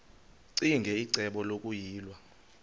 ccinge icebo lokuyilwa